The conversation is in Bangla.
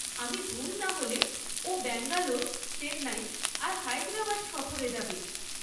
আমি ভুল না হলে, ও ব্যাঙ্গালোর, চেন্নাই আর হায়দ্রাবাদ সফরে যাবে।